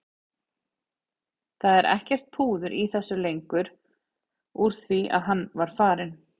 Það var ekkert púður í þessu lengur úr því að hann var farinn.